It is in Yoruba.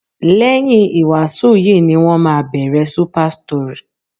Lẹ́yìn ìwàásù yìí ní wọ́n máa bẹ̀rẹ̀ Super Story.